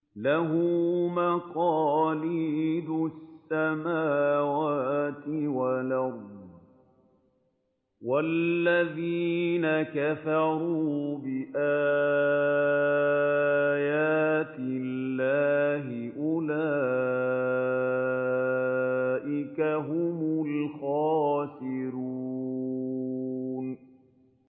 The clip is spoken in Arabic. لَّهُ مَقَالِيدُ السَّمَاوَاتِ وَالْأَرْضِ ۗ وَالَّذِينَ كَفَرُوا بِآيَاتِ اللَّهِ أُولَٰئِكَ هُمُ الْخَاسِرُونَ